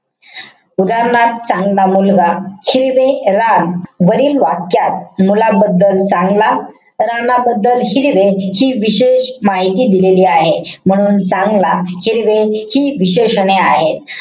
उदाहरणार्थ चांगला मुलगा, हिरवे रान. वरील वाक्यात मुलाबद्दल चांगला, रानबद्दल हिरवे हि विशेष माहिती दिलेली आहे. म्हणून चांगला, हिरवे हि विशेषणे आहेत.